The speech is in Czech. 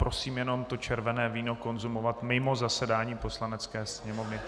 Prosím jenom, to červené víno konzumovat mimo zasedání Poslanecké sněmovny.